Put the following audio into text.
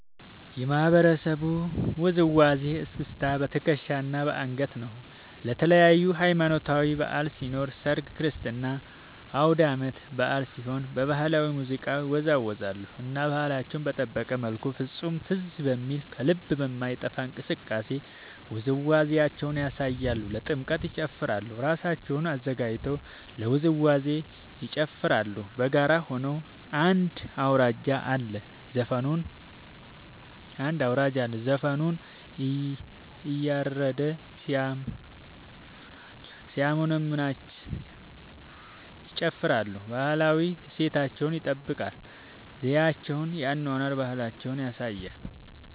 የማህበረሰቡ ውዝዋዜ እስክስታ በትከሻ እና በአንገት ነው። ለተለያዪ ሀማኖታዊ በዐል ሲኖር ሰርግ ክርስትና አውዳመት በአል ሲሆን በባህላዊ ሙዚቃ ይወዛወዛሉ እና ባህላቸውን በጠበቀ መልኩ ፍፁም ትዝ በሚል ከልብ በማይጠፍ እንቅስቃሴ ውዝዋዜያቸውን ያሳያሉ። ለጥምቀት ይጨፉራሉ እራሳቸውን አዘጋጅተው ለውዝዋዜ ይጨፋራሉ በጋራ ሆነው አንድ አውራጅ አለ ዘፈኑን እያረደ ሲያሞነምንላቸው ይጨፍራሉ። ባህላዊ እሴታቸውን ይጠብቃል ዘዪቸውን የአኗኗር ባህላቸውን ያሳያሉ።